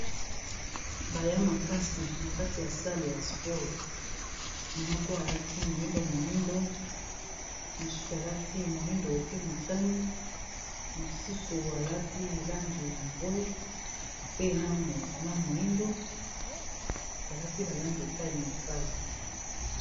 Ba ya makasi na kati ya sale ya sport moko alati moyindo moyindo mosusu alati moyindo pe motani mosusu alati langi ya mbwe pe na moyindo balati ba langi epaie na epai.